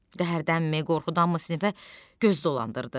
Qəhərdənmi, qorxudanmı sinifə göz dolandırdı.